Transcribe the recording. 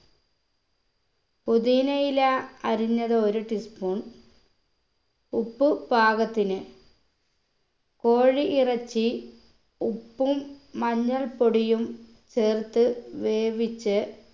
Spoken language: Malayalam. പൊതിനയില അരിഞ്ഞത് ഒരു teaspoon ഉപ്പ് പാകത്തിന് കോഴി ഇറച്ചി ഉപ്പും മഞ്ഞൾപ്പൊടിയും ചേർത്ത് വേവിച്ച്